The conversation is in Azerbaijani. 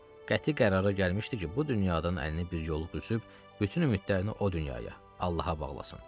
Qəti qərara gəlmişdi ki, bu dünyadan əlini bir yoluq üzüb, bütün ümidlərini o dünyaya, Allaha bağlasın.